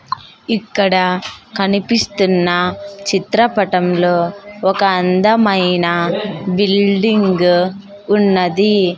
ఇక్కడ కనిపిస్తున్న చిత్రపటంలో ఒక అందమైన బిల్డింగ్ ఉన్నది.